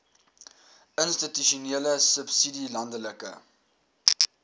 institusionele subsidie landelike